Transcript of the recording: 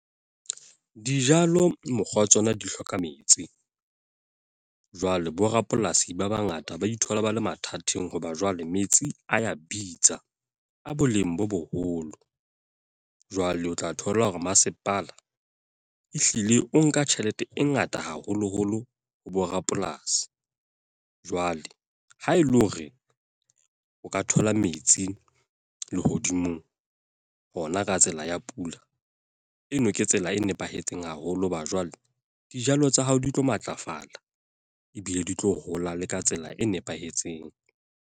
Dijalo mokgwa wa tsona di hloka metsi. Jwale bo rapolasi ba bangata ba ithola ba le mathateng. Hoba jwale metsi a ya bitsa, a boleng bo boholo. Jwale o tla thola hore masepala ehlile o nka tjhelete e ngata haholo holo ho bo rapolasi. Jwale ha ele hore, o ka thola metsi lehodimong hona ka tsela ya pula. Eno ke tsela e nepahetseng haholo hoba jwale, dijalo tsa hao di tlo matlafala. Ebile di tlo hola le ka tsela e nepahetseng.